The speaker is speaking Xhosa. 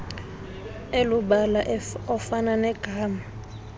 elubala ofana negama